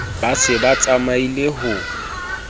ba se ba tsamaile ho